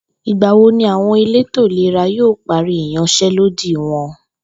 Ìgbà wo ni àwo̩n elétò ìlera yóò parí ìyans̩é̩lódì wo̩n?